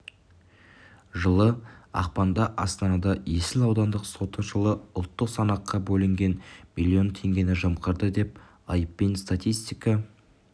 жылы ақпанда астанада есіл аудандық соты жылы ұлттық санаққа бөлінген млн теңгені жымқырды деп айыппен статистика